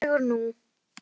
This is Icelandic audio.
Svona, rólegur nú.